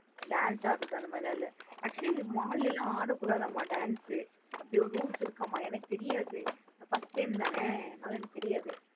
Dance ஆடுறது அந்த மாத்ரி எல்லா இல்ல. Actually இந்த mall லாம் ஆட கூடதாம். Dance அப்டி ஒரு rules இருக்கமா எனக்கு தெரியாது? First time தான அதுனால எனக்கு தெரியாது?